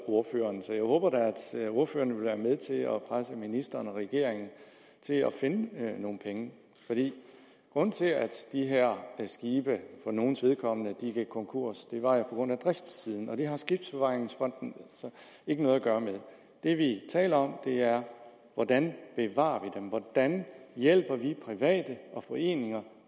ordføreren så jeg håber da at ordføreren vil være med til at presse ministeren og regeringen til at finde nogle nogle penge grunden til at nogle af de her skibe gik konkurs var jo driftssiden og det har skibsbevaringsfonden ikke noget at gøre med det vi taler om er hvordan vi bevarer dem hvordan vi hjælper private og foreninger